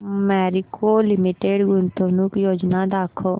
Marico limited गुंतवणूक योजना दाखव